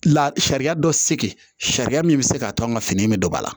La sariya dɔ segin sariya min bɛ se ka to an ka fini in bɛ don ba la